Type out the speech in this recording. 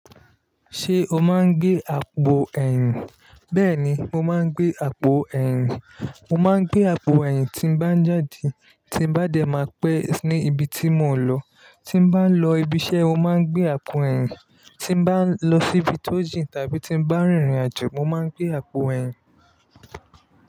Ṣé o máa ń gbé àpò ẹ̀yìn? Bẹ́ẹ̀ni, mo máa ń gbé àpò ẹ̀yìn. Mo máa ń gbé àpò ẹ̀yìn tí bá ń jáde, tí bá dẹ máa pẹ́ ní ibi tí mò ń lọ. Tí bá ń lọ ibi iṣẹ́, mo máa ń gbé àpò ẹ̀yìn. Tí bá ń lọ síbi tó jìn tàbí tí bá ń rìnrìn àjò, mo máa ń gbé àpò ẹ̀yìn.